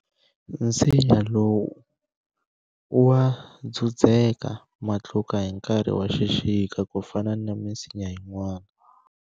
Nsinya lowu wa dzudzeka matluka hi nkarhi wa xixika ku fana na misinya yin'wana.